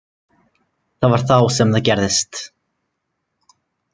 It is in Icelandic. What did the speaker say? Það var þá sem það gerðist.